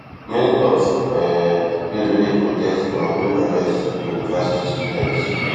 many of um those wey dey protest imamoglu arrest be university students